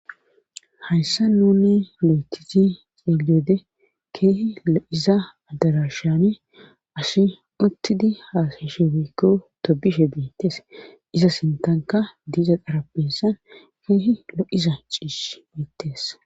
hayssa nuni lo7etisi xeeliyoode keehi o7iza addarashane asi uttidi haasashe weykko tobishe beettes iza sintanka diiza qara beessan keehi lo7iza ciish beettes